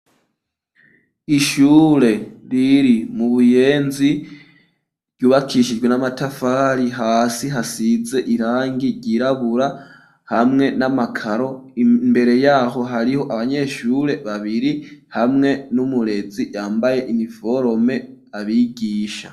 Ishure riri mu Buyenzi ryubakishijwe n'amatafari hasi hasize irangi ryirabura hamwe n'amakaro ,imbere yaho hariho abanyeshure babiri hamwe n'umurezi yambaye iniforome abigisha.